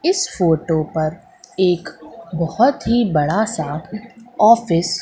इस फोटो पर एक बहोत ही बड़ा सा ऑफिस --